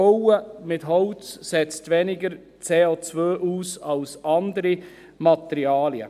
Bauen mit Holz setzt weniger CO aus als andere Materialien.